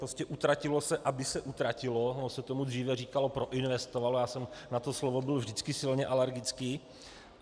Prostě utratilo se, aby se utratilo, ono se tomu dříve říkalo proinvestovalo, já jsem na to slovo byl vždycky silně alergický.